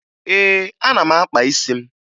Ee, ana m akpa isi m